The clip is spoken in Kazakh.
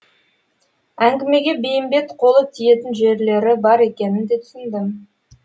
әңгімеге бейімбет қолы тиетін жерлері бар екенін де түсіндім